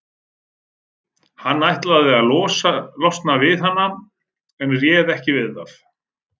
Hann ætlaði að losna við hana en réð ekki við það.